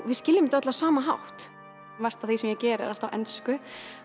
við skiljum þetta öll á sama hátt margt af því sem ég geri er allt á ensku